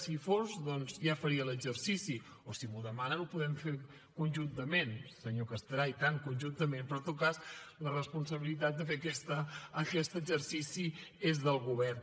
si hi fos doncs ja faria l’exercici o si m’ho demanen ho podem fer conjuntament senyor castellà i tant conjuntament però en tot cas la responsabilitat de fer aquest exercici és del govern